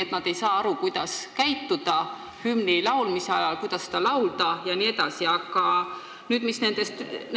Kas nad ei saa aru, kuidas hümni laulmise ajal käituda: kuidas seda laulda jne?